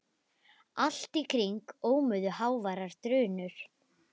Allt í kring ómuðu háværar drunur.